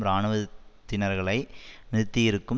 இராணுவத்தினர்களை நிறுத்தியிருக்கும்